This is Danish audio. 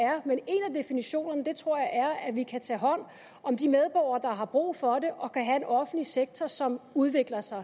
definitionerne tror jeg er at vi kan tage hånd om de medborgere der har brug for det og kan have en offentlig sektor som udvikler sig